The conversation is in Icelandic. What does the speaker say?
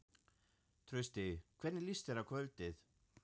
Trausti, hvernig líst þér á kvöldið?